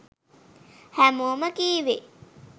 හැමෝම කීවේ